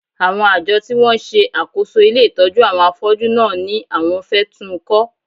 Àwọn àjọ tí wọ́n ń ṣe àkóso ilé ìtọ́jú àwọn afọ́jú náà ni àwọn fẹ́ tún ń kọ́